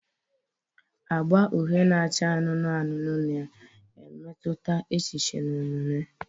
Agba uhie na acha anụnụ anụnụ na-emetụta echiche na omume.